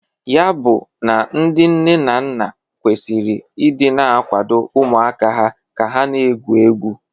Ya bụ na ndị nne na nna kwesiri ị dị na akwado ụmụaka ha ka ha na-egwu egwu.